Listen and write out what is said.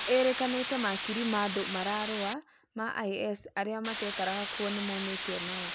ĩrĩkanĩte makirii ma andũ mararũa ma IS arĩa matekaraga kũo nĩmaũmĩte onao